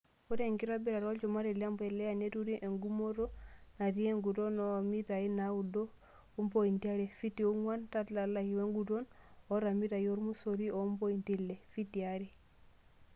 Ore enkitobiratit olchumati lempulia, neturi engumotand naatit enguton oand mitai naboand ompointi are(fitii ong'uan) telalai, wenguton oand mitai ormosori ompointi ile(fitii are).